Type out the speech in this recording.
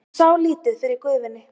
Hún sá lítið fyrir gufunni.